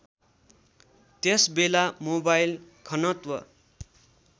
त्यसबेला मोबाइल घनत्व